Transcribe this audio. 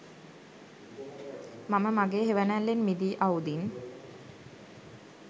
මම මගෙ හෙවනැල්ලෙන් මිදී අවුදින්